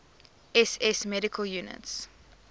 ss medical units